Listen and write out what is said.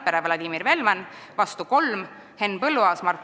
Priit Sibul, palun!